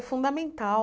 Fundamental.